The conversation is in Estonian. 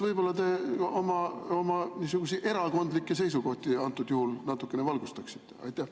Võib-olla te oma niisuguseid erakondlikke seisukohti antud juhul natukene valgustaksite?